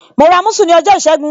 Mo ra musu ní ọjọ́ ìṣẹ́gun.